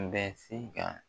bɛ se ka